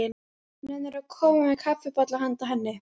Nennirðu að koma með kaffibolla handa henni